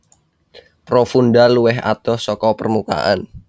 Profunda luwih adoh saka permukaan